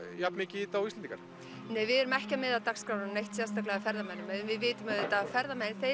jafnmikið í þetta og Íslendingar við erum ekki að miða dagskrána neitt sérstaklega að ferðamönnum við vitum að ferðamenn